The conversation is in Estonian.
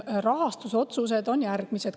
Rahastusotsused on järgmised.